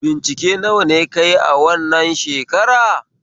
Bincike nawa ne kayi a wannan shakara?